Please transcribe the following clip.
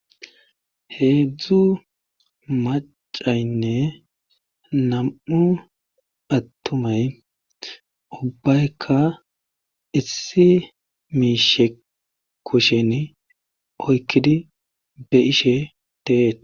heedzdzu macaynne nam7u attumay ubbaykka issi miishe koshen oykkidi be ishe teeet